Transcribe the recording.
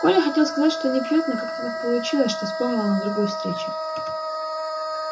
коля хотел сказать что не пьёт но как-то так получилось что вспомнил он о другой встрече